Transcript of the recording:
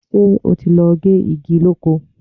Ṣé o ti lọ gé igi lóko?